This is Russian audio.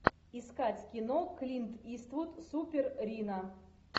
искать кино клин иствуд супер рино